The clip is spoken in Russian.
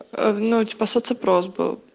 в ночь по соц опрос был